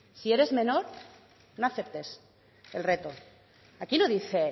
si eres menor no aceptes el reto aquí no dice